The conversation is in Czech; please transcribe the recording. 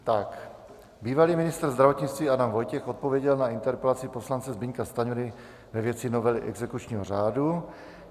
Bývalý ministr zdravotnictví Adam Vojtěch odpověděl na interpelaci poslance Zbyňka Stanjury ve věci novely exekučního řádu.